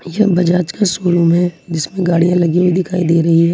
यह बजाज का शोरूम है जिसमें गाड़ियां लगी हुई दिखाई दे रही हैं।